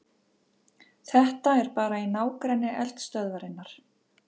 Þetta er bara í nágrenni eldstöðvarinnar